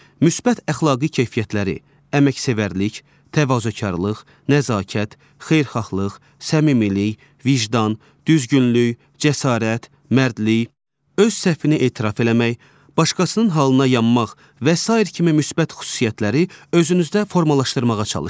Müsbət əxlaqi keyfiyyətləri, əməksevərlik, təvazökarlıq, nəzakət, xeyirxahlıq, səmimilik, vicdan, düzgünlük, cəsarət, mərdlik, öz səhvini etiraf eləmək, başqasının halına yanmaq və sair kimi müsbət xüsusiyyətləri özünüzdə formalaşdırmağa çalışın.